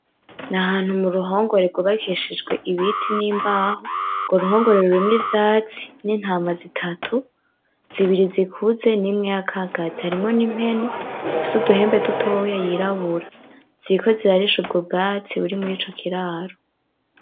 N'ahantu muruhongore rwubakishijwe ibiti n'imbaho, urwo ruhongore rurimwo ivyatsi n'intama zitatu, zibiri zikuze n'imwe y'akagazi, harimwo n'impene ifise uduhembe dutoya yirabura. Ziriko zirarisha ubwo bwatsi buri mur'ico kiraro.